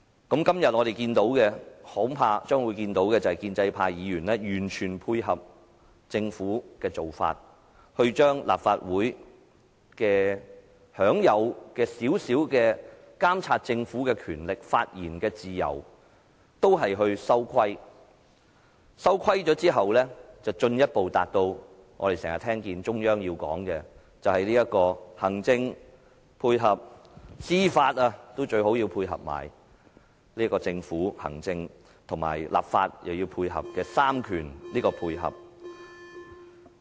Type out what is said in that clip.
今天我們將會看到的，恐怕是建制派議員完全配合政府的做法，把立法會享有的少許監察政府的權力及發言自由收緊，然後便進一步達致我們經常聽到中央所說的"行政配合"，最好連司法也配合，達致政府的行政、立法及司法3權互相配合。